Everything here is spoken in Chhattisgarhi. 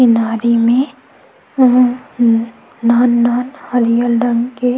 किनारे मे अअअ नान नान हरियर रंग के--